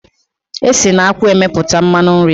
Esi na akwụ emepụta mmanụ nri.